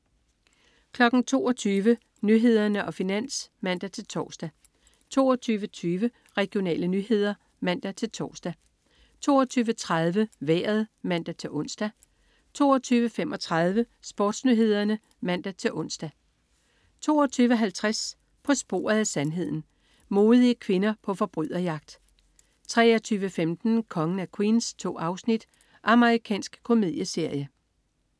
22.00 Nyhederne og Finans (man-tors) 22.20 Regionale nyheder (man-tors) 22.30 Vejret (man-ons) 22.35 SportsNyhederne (man-ons) 22.50 På sporet af sandheden. Modige kvinder på forbryderjagt 23.15 Kongen af Queens. 2 afsnit. Amerikansk komedieserie